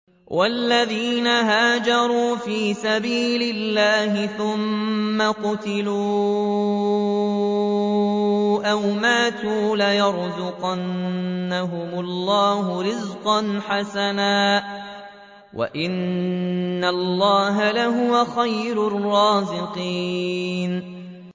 وَالَّذِينَ هَاجَرُوا فِي سَبِيلِ اللَّهِ ثُمَّ قُتِلُوا أَوْ مَاتُوا لَيَرْزُقَنَّهُمُ اللَّهُ رِزْقًا حَسَنًا ۚ وَإِنَّ اللَّهَ لَهُوَ خَيْرُ الرَّازِقِينَ